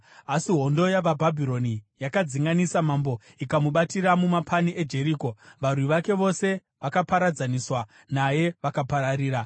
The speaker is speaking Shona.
asi hondo yavaBhabhironi yakadzinganisa mambo ikamubatira mumapani eJeriko. Varwi vake vose vakaparadzaniswa naye vakapararira.